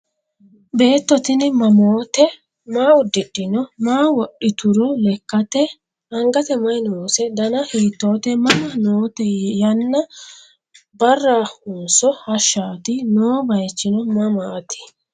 Beetto tinni mamootte? Maa udidhinno? Maa wodhitturo lekkatte? Angatte mayi noose? Danna hiittotte? Mama noote yanna barahonso hashaatti? Noo bayiichchi mamaatti?